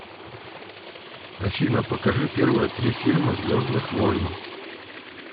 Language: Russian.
афина покажи первые три фильма звездных войн